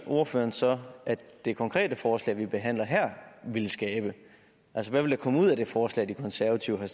ordføreren så at det konkrete forslag vi behandler her vil skabe altså hvad vil der komme ud af det forslag de konservative har